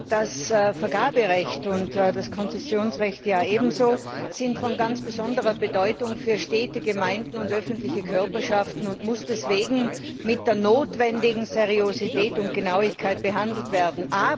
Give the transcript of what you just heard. Das Vergaberecht und das Konzessionsrecht ja ebenso sind von ganz besonderer Bedeutung für Städte, Gemeinden und öffentliche Körperschaften und müssen deswegen mit der notwendigen Seriosität und Genauigkeit behandelt werden.